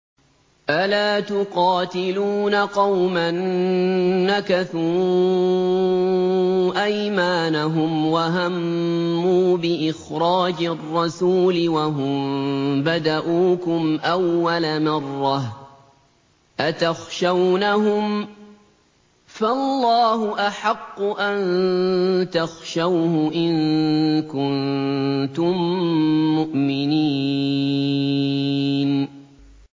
أَلَا تُقَاتِلُونَ قَوْمًا نَّكَثُوا أَيْمَانَهُمْ وَهَمُّوا بِإِخْرَاجِ الرَّسُولِ وَهُم بَدَءُوكُمْ أَوَّلَ مَرَّةٍ ۚ أَتَخْشَوْنَهُمْ ۚ فَاللَّهُ أَحَقُّ أَن تَخْشَوْهُ إِن كُنتُم مُّؤْمِنِينَ